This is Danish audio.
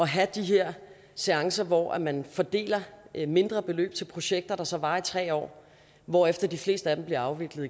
have de her seancer hvor man fordeler mindre beløb til projekter der så varer i tre år hvorefter de fleste af dem bliver afviklet